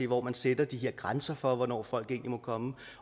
hvor man sætter de her grænser for hvornår folk egentlig må komme